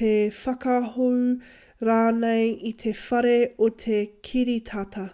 te whakahou rānei i te whare o te kiritata